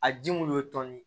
A ji mun y'o tɔni